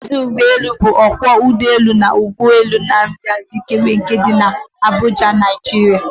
Maazi Ude bu okwo ugboelu na odu ugboelu Nnamdi Azikiwe nke di Abuja, Naijiria.